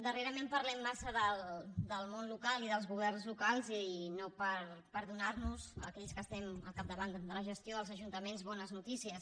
darrerament parlem massa del món local i dels governs locals i no per donar nos a aquells que estem al capdavant de la gestió dels ajuntaments bones notícies